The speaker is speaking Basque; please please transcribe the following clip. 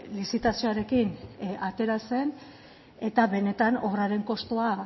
lizitazioarekin atera zen eta benetan obraren kostua